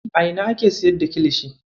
A ina ake siyar da kilishi?